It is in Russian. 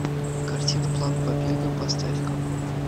картина план побега поставь ка